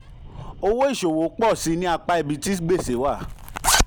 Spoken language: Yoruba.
owó ìṣòwò pọ̀ síi ní apá ibi ní apá ibi tí gbèsè wà.